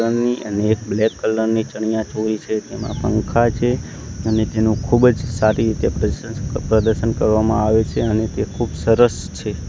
અને એક black colour ની ચણીયાચોળી છે તેમાં પંખા છે અને તેનો ખૂબજ સારી રીતે પ્રશસ્ત પ્રદર્શન કરવામાં આવે છે અને તે ખુબ સરસ છે.